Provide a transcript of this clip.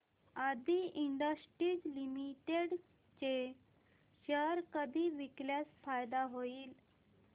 आदी Industries Limited चे share कधी विकल्यास फायदा होईल